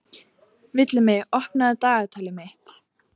Villimey, opnaðu dagatalið mitt.